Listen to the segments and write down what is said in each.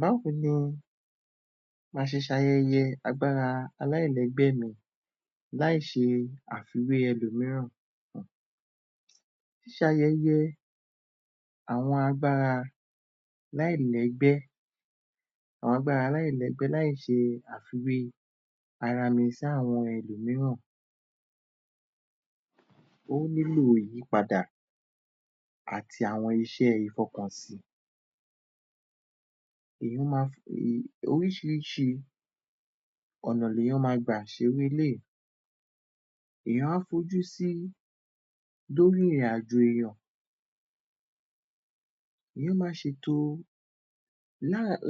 Báwo ni máa ṣe ṣayẹyẹ agbára aláìlẹ́gbẹ́ mi láì ṣe àfiwé ẹlòmíràn? Ṣíṣe ayẹyẹ àwọn agbára aláìlẹ́gbẹ́, àwọn agbára aláìlẹ́gbẹ́ láì ṣe àfiwé ara mi sí àwọn ẹlòmíràn, ó níllò ìyípadà àti àwọn iṣẹ́ ìfọkànsí, oríṣìírísìí ọ̀nà lèèyàn máa gbà ṣe irú eléyìí. Èèyàn á fojú sí, lórí ìrìnàjò èèyàn, èèyàn máa ṣètò,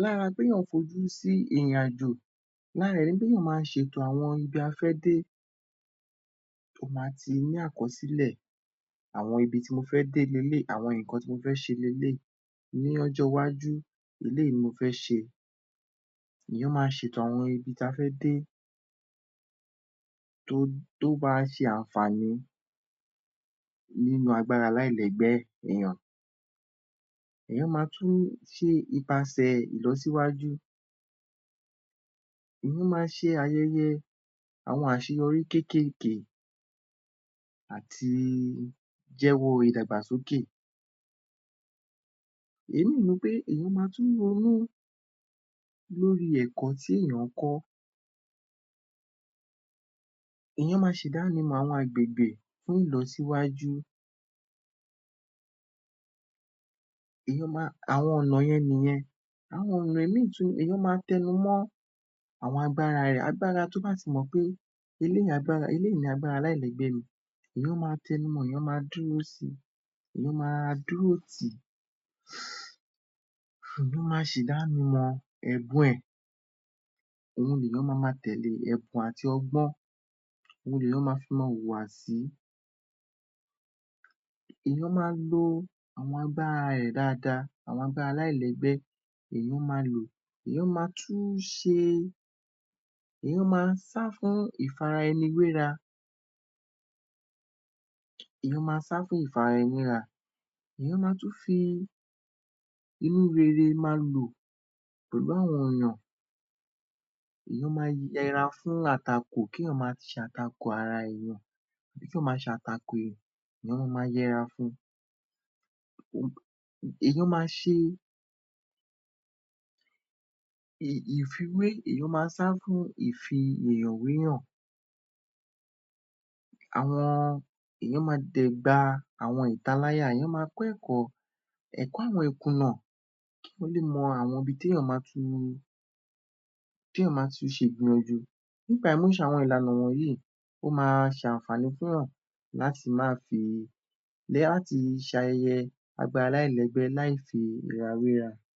lára pé èèyàn fojú sí ìrìnàjò, lára ẹ̀ ni kí èèyàn máa ṣètò ibi a fẹ́ dé, ó máa ti ní àkọsílẹ̀, àwọn ibi tí mo fẹ́ dé leléyìí, àwọn ǹnkan tí mo fẹ́ ṣe leléyìí, ní ọjọ́ iwájú, eléyìí ni mo fẹ́ ṣe, èèyàn máa ṣètò àwọn ibi ta fẹ́ dé tó máa ṣe àǹfààní nínú agbára aláìlẹ́gbẹ́ èèyàn. Èèyàn máa tún ṣe ipasẹ̀ ìlọsíwájú, èèyàn máa ṣe ayẹyẹ àwọn àṣeyọrí kékèké àti jẹ́wọ́ ìdàgbàsókè, èyí ni wí pé èèyàn máa tún ronú lórí ẹ̀kọ́ tí èèyàn ń kọ́, èèyàn máa ṣe ìdánimọ àwọn agbègbè fún ìlọsíwájú, àwọn ọ̀nà yẹn nìyẹn. Àwọn ọ̀nà mìí tún ni, èèyàn máa tẹnumọ àwọn agbára rẹ̀, agbára tó bá ti mọ̀ pé, eléyìí ni agbára aláìlẹ́gbẹ́ mi, èèyàn máa tẹnumọ, èèyàn máa dúró si, èèyàn máa dúró tìí, èèyàn máa ṣe ìdánimọ̀ ẹ̀bùn ẹ̀, òun lèèyàn ma máa tẹ̀lẹ́, ẹ̀bùn àti ọgbọ́n, òun lèèyàn fi ma máa wùwà sí, èèyàn máa lo àwọn agbára rẹ̀ dáadáa, àwọn agbára aláìlẹ́gbẹ́, èèyàn máa lò, èèyàn máa tún ṣe, èèyàn máa sá fún ìfara-ẹni-wéra, èèyàn máa sá fún ìfara-ẹni-wéra, èèyàn máa tún fi inú rere máa lò pẹ̀lú àwọn èèyàn, èèyàn máa yẹra fún àtakò, kí èèyàn máa ṣe àtakò ara èèyàn, èèyàn ma máa yẹra fun. Èèyàn máa ṣe ìfiwé, èèyàn máa sá fún ìfi èèyàn w'éyàn, àwọn èèyàn máa dẹ̀ gba àwọn ìtaláyà, èèyàn máa kọ́ ẹ̀kọ́, ẹ̀kọ́ àwọn ìkùnà, kí wọ́n lè mọ àwọn ibi ti èèyàn máa ti ṣe ìgbìyànjú, nípa ìmúṣe àwọn ìlànà wọ̀nyìí, ó máa ṣe àǹfààní fún èèyàn láti máa fi, láti ṣe ayẹyẹ agbára aláìlẹ́gbẹ́ láì firawéra.